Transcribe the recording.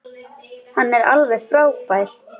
Hann er alveg frábær.